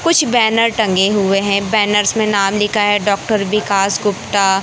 कुछ बैनर टंगे हुए है बैनर्स नाम लिखा है डाक्टर विकास गुप्ता--